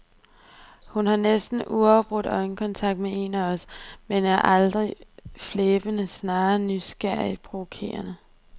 Hun har næsten uafbrudt øjenkontakt med en af os, men er aldrig flæbende, snarere nysgerrigt provokerende.